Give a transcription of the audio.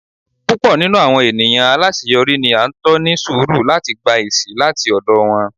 pupọ ninú awọn eniyan alaṣeyọri ni a n tọ ní surú lati gbá esi lati ọdọ wọn